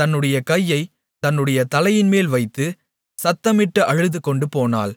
தன்னுடைய கையைத் தன்னுடைய தலையின்மேல் வைத்து சத்தமிட்டு அழுதுகொண்டுபோனாள்